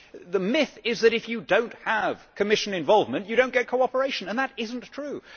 The myth is that if you do not have Commission involvement you do not get cooperation. It is not true.